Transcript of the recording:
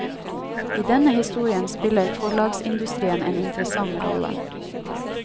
I denne historien spiller forlagsindustrien en interessant rolle.